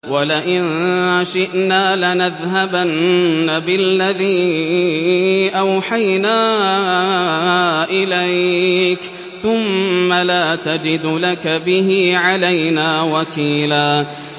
وَلَئِن شِئْنَا لَنَذْهَبَنَّ بِالَّذِي أَوْحَيْنَا إِلَيْكَ ثُمَّ لَا تَجِدُ لَكَ بِهِ عَلَيْنَا وَكِيلًا